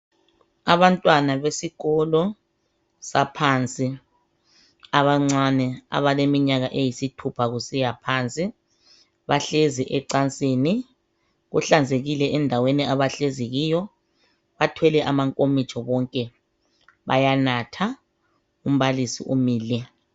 Abantwana besikolo saphansi abancane abeleminyaka eyisithupha kusiya phansi bahlezi ecansini Kuhlanzekile endaweni abahlezi kiyo Bathwele amankomitsho bonke bayanatha . Umbalisi umile